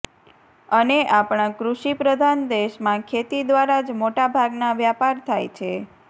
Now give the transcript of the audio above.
અને આપણા કૃષિ પ્રધાન દેશમાં ખેતી દ્વારા જ મોટા ભાગના વ્યાપાર થાય છે